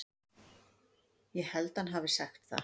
Ég held hann hafi sagt það.